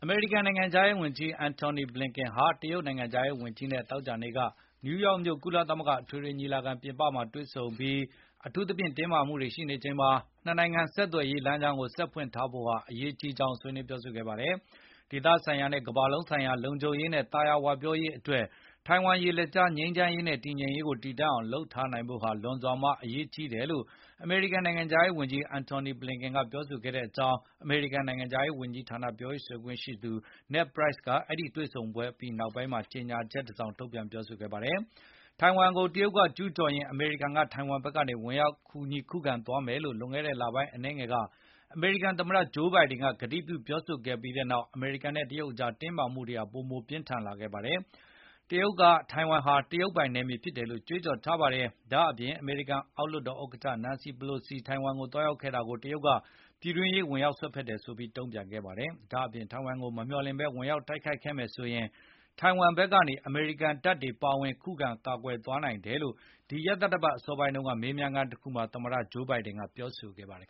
မေရိကန်နိုင်ငံခြားရေးဝန်ကြီး Antony Blinken ဟာ တရုတ်နိုင်ငံခြားရေးဝန်ကြီးနဲ့ သောကြာနေ့က နယူးယောက်မြို့ ကုလသမဂ္ဂ အထွေထွေ ညီလာခံ အပြင်ဘက်မှာတွေ့ဆုံပြီး၊ အထူးသဖြင့် တင်းမာမှုတွေရှိနေချိန်မှာ နှစ်နိုင်ငံဆက်သွယ်ရေး လမ်းကြောင်းကို ဆက်လက်ဖွင့်လှစ်ထားဖို့ ဟာ အရေးကြီးကြောင်း ဆွေးနွေးခဲ့ကြပါတယ်။ ဒေသဆိုင်ရာနဲ့ ကမ္ဘာလုံးဆိုင်ရာ လုံခြုံရေးနဲ့ သာယာဝပြောရေးအတွက် ထိုင်ဝမ်ရေလက်ကြား ငြိမ်းချမ်းရေးနဲ့ တည်ငြိမ်ရေး တည်တန့်အောင် လုပ်ထားနိုင်ဖို့ လွန်စွာမှ အရေးကြီးတယ်လို့ အမေရိကန် နိုင်ငံခြားရေးဝန်ကြီး Antony Blinken ကပြောဆိုခဲ့ကြောင်း အမေရိကန်နိုင်ငံခြားရေး ဝန်ကြီးဌာနပြောရေး ဆိုခွင့်ရှိသူ Ned Price ကကြေညာချက် တစောင် ထုတ်ပြန်ခဲ့ပါတယ်။ ထိုင်ဝမ်ကို တရုတ်က ကျူးကျော်ရင် အမေရိကန်က ထိုင်ဝမ်ဘက်ကနေ ဝင်ရောက်ကူညီခုခံသွားမယ်လို့ လွန်ခဲ့တဲ့လ အနည်းငယ်ပိုင်းက အမေရိကန်သမတ ဂျိုးဘိုင်ဒင်က ကတိပြုခဲ့ပြီးနောက် အမေရိကန်နဲ့ တရုတ်အကြား တင်းမာမှုတွေဟာ ပိုမိုပြင်းထန်လာခဲ့ပါတယ်။ တရုတ်က ထိုင်ဝမ်ဟာ တရုတ်ပိုင်နယ်မြေဖြစ်တယ်လို့ ကြွေးကြော်ထားပါတယ်။ ဒါ့အပြင် အမေရိကန်အောက်လွှတ်တော်ဥက္ကဌ Nancy Pelosi ထိုင်ဝမ်ကိုသွားရောက်ခဲ့တာကို တရုတ်က ပြည်တွင်းရေးဝင်ရောက် စွက်ဖက်တယ်ဆိုပြီးတုံ့ပြန်ခဲ့ပါတယ်။ ဒါအပြင် ထိုင်ဝမ်ကို မမျှော်လင့်ဘဲ ဝင်ရောက်တိုက်ခိုက်ခဲ့ရင် ထိုင်ဝမ်ဘက်နေ အမေရိကန်တပ်တွေပါဝင် ခုခံကာကွယ်နိုင်တယ်လို့ ဒီရက်သတ္တပတ်အစောပိုင်းက မေးမြန်းခန်းတခုမှာ သမတ ဂျိုးဘိုင်ဒင်က ပြောဆိုခဲ့ပါတယ်